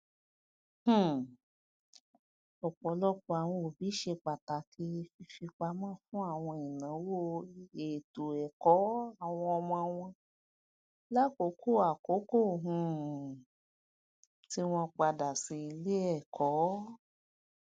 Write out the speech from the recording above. um ọpọlọpọ àwọn òbí ṣe pàtàkì fífipamọ fún àwọn ìnáwó ètòẹkọ àwọn ọmọ wọn lákòókò àkókò um tí wọn padà sí iléẹkọ